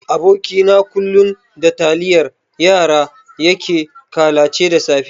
Aboki na kullun da taliyan yara yake kalace da safe.